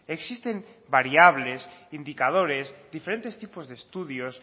existen variables indicadores diferentes tipos de estudios